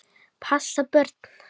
Passa börn?